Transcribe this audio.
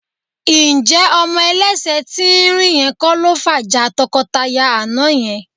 Ǹjẹ́ ọmọ ẹlẹ́sẹ̀ tín-ín-rín yẹn kọ́ ló fàjà tọkọtaya àná yẹn?